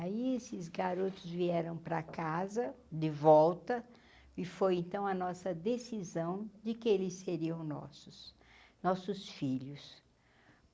Aí esses garotos vieram para casa de volta e foi, então, a nossa decisão de que eles seriam nossos, nossos filhos.